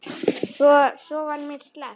Svo var mér sleppt.